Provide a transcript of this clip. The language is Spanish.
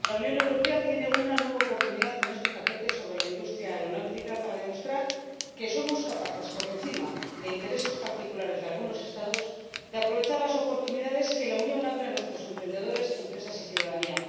Señor Presidente, comisaria, la Unión Europea tiene una nueva oportunidad con este paquete sobre la industria aeronáutica para demostrar que somos capaces, por encima de intereses particulares de algunos Estados, de aprovechar las oportunidades que la Unión abre a nuestros emprendedores, empresas y ciudadanía.